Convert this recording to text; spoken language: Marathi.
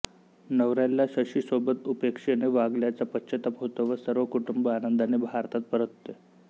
नवऱ्याला शशीसोबत उपेक्षेने वागल्याचा पश्चाताप होतो व सर्व कुटुंब आनंदाने भारतात परतते